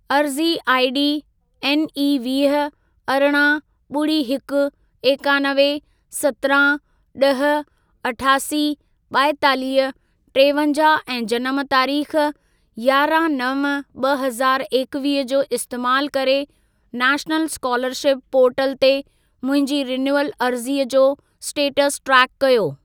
अर्ज़ी आईडी एनई वीह, अरिड़हं, ॿुड़ी हिकु, एकानवे, सत्रहं, ॾह, अठासी, ॿाएतालीह, टेवंजाहु ऐं जनम तारीख़ यारहां नव ॿ हज़ारु एकवीह जो इस्तेमालु करे नैशनल स्कोलरशिप पोर्टल ते मुंहिंजी रिनय़ूअल अर्ज़ीअ जो स्टेटस ट्रेक कर्यो।